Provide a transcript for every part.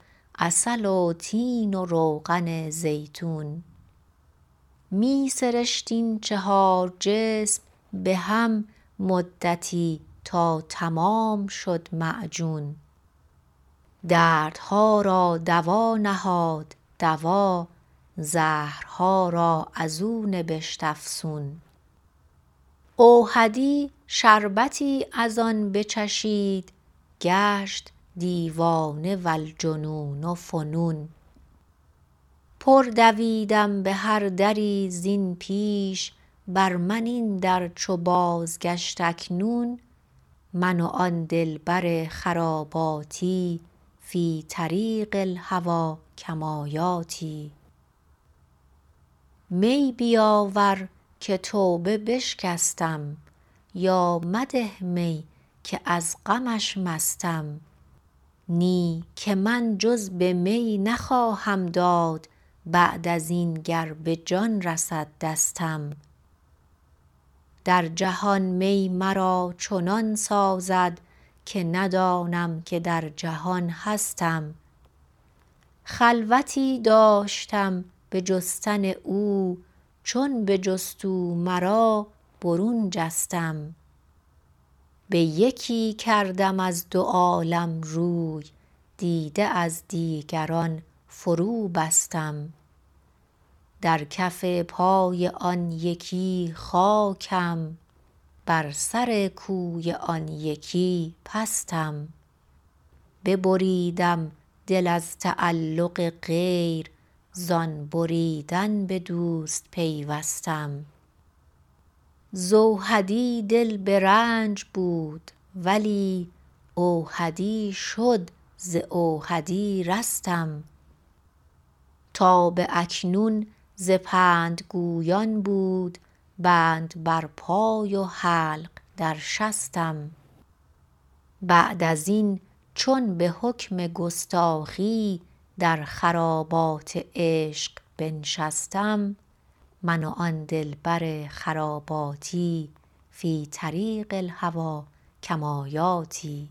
عسل و تین و روغن زیتون می سرشت این چهار جسم بهم مدتی تا تمام شد معجون دردها را دوانهاد دوا زهرها را ازو نبشت افسون اوحدی شربتی از آن بچشید گشت دیوانه والجنون فنون پر دویدم بهر دری زین پیش بر من این در چو بازگشت اکنون من و آن دلبر خراباتی فی طریق الهوی کمایاتی می بیاور که توبه بشکستم یا مده می که از غمش مستم نی که من جز به می نخواهم داد بعد ازین گر به جان رسد دستم درجهان می مرا چنان سازد که ندانم که در جهان هستم خلوتی داشتم به جستن او چون بجست او مرابرون جستم به یکی کردم از دو عالم روی دیده از دیگران فرو بستم در کف پای آن یکی خاکم بر سر کوی آن یکی پستم ببریدم دل از تعلق غیر زان بریدن به دوست پیوستم ز اوحدی دل به رنج بود و چو دل اوحدی شد ز اوحدی رستم تا به اکنون ز پند گویان بود بند بر پای و حلق در شستم بعد از این چون به حکم گستاخی در خرابات عشق بنشستم من و آن دلبر خراباتی فی طریق الهی کمایاتی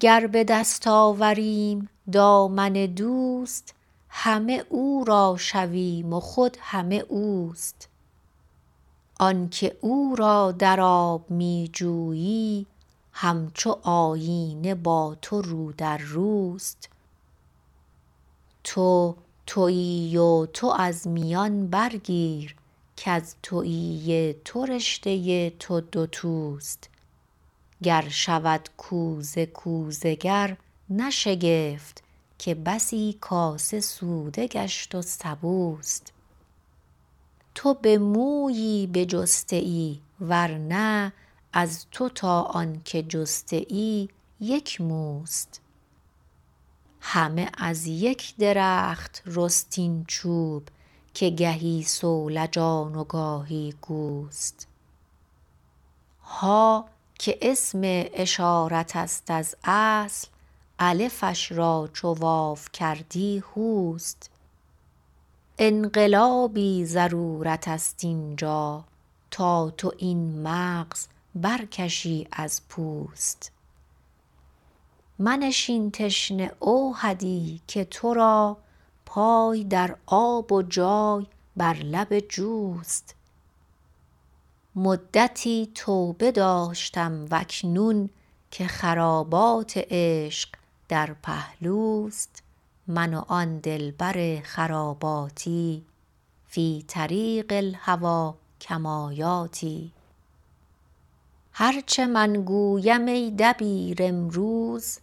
گر به دست آوریم دامن دوست همه او را شویم و خود همه اوست آنکه او را در آب می جویی همچو آیینه با تو رو در روست تو تویی و تو از میان برگیر کز تویی تو رشته تو دو توست گر شود کوزه کوزه گرنه شگفت که بسی کاسه سوده گشت و سبوست تو به مویی بجسته ای ورنه از تو تا آنکه جسته ای یک موست همه از یک درخت رست این چوب که گهی صولجان و گاهی گوست ها که اسم اشارتست از اصل الفش را چو واو کردی هوست انقلابی ضرورتست این جا تا تو این مغز بر کشی از پوست منشین تشنه اوحدی که ترا پای در آب و جای بر لب جوست مدتی توبه داشتم و اکنون که خرابات عشق در پهلوست من و آن دلبر خراباتی فی طریق الهوی کمایاتی هر چه من گویمای دبیر امروز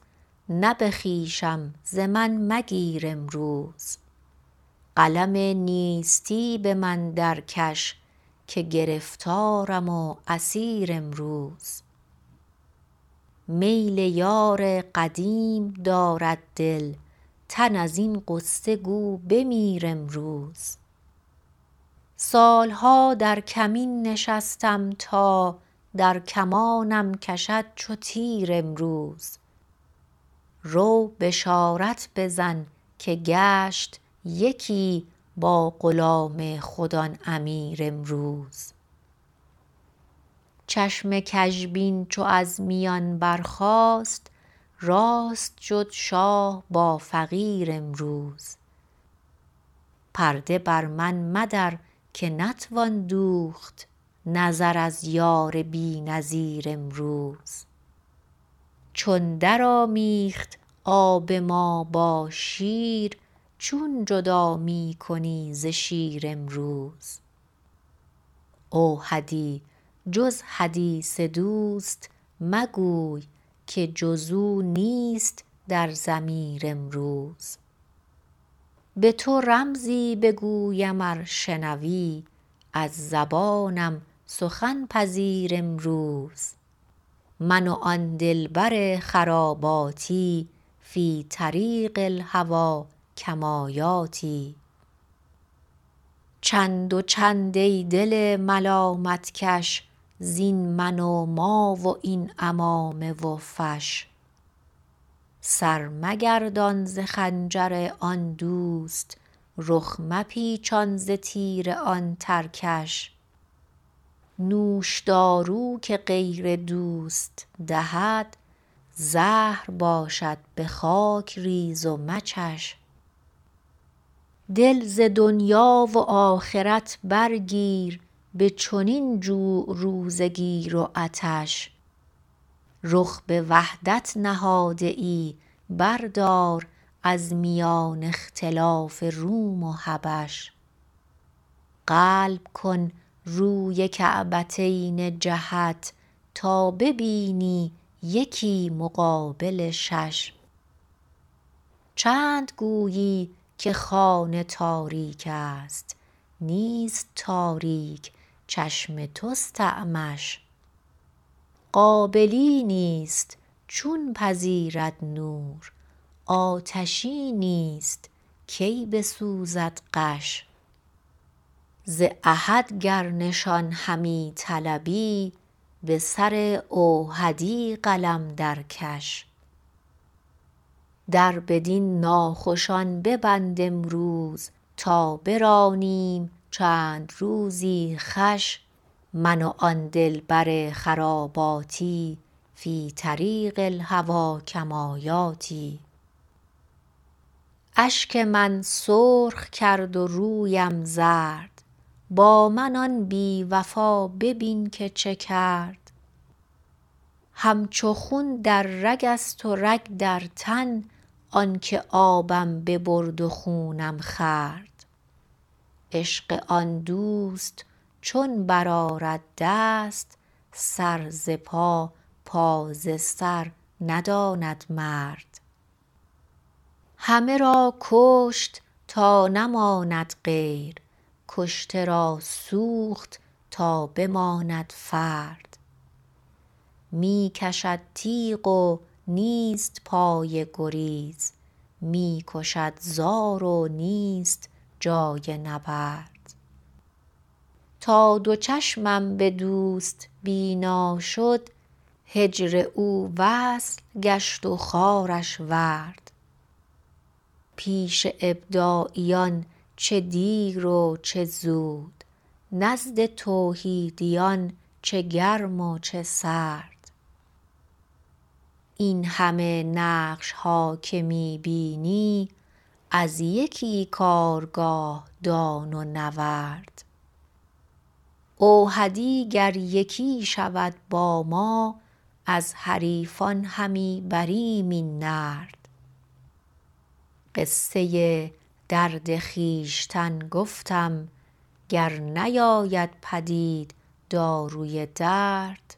نه به خویشم ز من مگیر امروز قلم نیستی به من در کش که گرفتارم و اسیر امروز میل یار قدیم دارد دل تن ازین غصه گو بمیر امروز سالها در کمین نشستم تا در کمانم کشد چو تیر امروز رو بشارت بزن که گشت یکی با غلام خود آن امیر امروز چشم گژبین چو از میان برخاست راست شد شاه با فقیر امروز پرده برمن مدر که نتوان دوخت نظر از یار بی نظیر امروز چون در آمیخت آب ما با شیر چون جدا می کنی ز شیر امروز اوحدیجز حدیث دوست مگوی که جزو نیست در ضمیر امروز به تو رمزی بگویم ار شنوی از زبانم سخن پذیر امروز من و آن دلبر خراباتی فی طریق الهوی کمایاتی چند وچند ای دل ملامت کش زین من و ما و این عمامه و فش سر مگردان ز خنجر آن دوست رخ مپیچان ز تیر آن ترکش نوشدارو که غیر دوست دهد زهر باشد به خاک ریز و مچش دل ز دنیا و آخرت برگیر به چنین جوع روزه گیر و عطش رخ به وحدت نهاده ای بردار از میان اختلاف روم و حبش قل کن روی کعبتین جهت تا ببینی یکی مقابل شش چند گویی که خانه تاریکست نیست تاریک چشم تست اعمش قابلی نیست چون پذیرد نور آتشی نیست کی بسوزد غش ز احد گر نشان همی طلبی به سر اوحدی قلم درکش در بدین ناخوشان ببند امروز تا برانیم چند روزی خوش من و آن دلبر خراباتی فی طریق الهوی کمایاتی اشک من سرخ کرد و رویم زرد با من آن بی وفا ببین که چه کرد همچو خون در رگست و رگ در تن آنکه آبم ببرد و خونم خورد عشق آن دوست چون برآرد دست سر ز پا پا ز سر نداند مرد همه را کشت تا نماند غیر کشته را سوخت تا بماند فرد می کشد تیغ و نیست پای گریز می کشد زار و نیست جای نبرد تا دو چشمم به دست بینا شد هجر او وصل گشت و خارش ورد پیش ابداعیان چه دیر و چه زود نزد توحیدیان چه گرم و چه سرد این همه نقشها که می بینی از یکی کارگاه دان و نورد اوحدی گر یکی شود با ما از حریفان همی بریم این نرد قصه درد خویشتن گفتم گر نیاید پدید داروی درد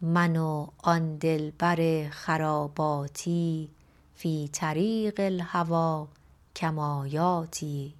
من و آن دلبر خراباتی فی طریق الهوی کمایاتی